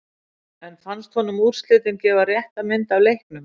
En fannst honum úrslitin gefa rétta mynd af leiknum?